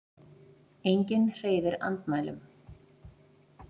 Enginn hreyfir andmælum.